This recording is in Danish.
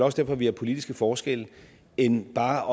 også derfor vi har politiske forskelle end bare